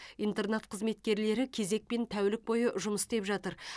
интернат қызметкерлері кезекпен тәулік бойы жұмыс істеп жатыр